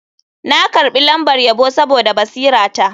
Na karbi lambar yabo saboda basirata.